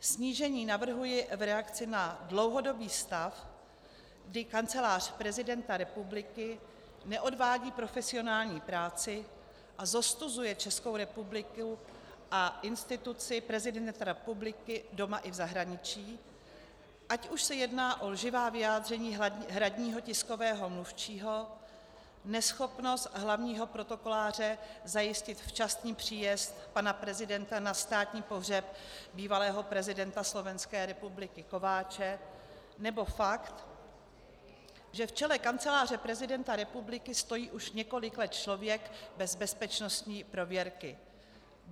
Snížení navrhuji v reakci na dlouhodobý stav, kdy Kancelář prezidenta republiky neodvádí profesionální práci a zostuzuje Českou republiku a instituci prezidenta republiky doma i v zahraničí, ať už se jedná o lživá vyjádření hradního tiskového mluvčího, neschopnost hlavního protokoláře zajistit včasný příjezd pana prezidenta na státní pohřeb bývalého prezidenta Slovenské republiky Kováče nebo fakt, že v čele Kanceláře prezidenta republiky stojí už několik let člověk bez bezpečnostní prověrky.